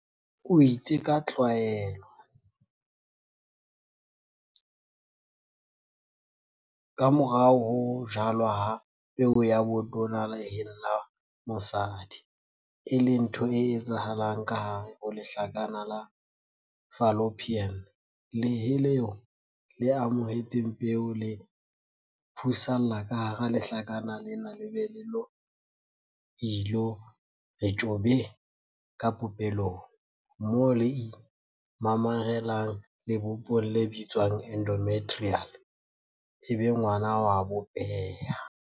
O itse ka tlwaelo, kamorao ho ho jalwa ha peo ya botona leheng la bosadi - e leng ntho e etsahalang kahare ho lehlakana la fallopian, lehe leo le amohetseng peo le phusalla kahara lehlakana lena le be le ilo re tjhobe ka popelong, moo le imamarelang lebopong le bitswang endometrial ebe ngwana o a bopeha.